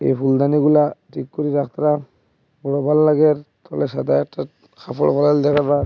এই ফুলদানিগুলা ঠিক করি রাখত্রা বড় ভাল্লাগের তলে সাদা একটা কাপড় পড়াইল দেখা যার।